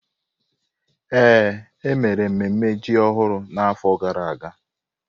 Ee, e mere mmemme ji ọhụrụ n’afọ gara aga.